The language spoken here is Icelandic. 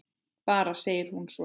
Bara segir hún svo.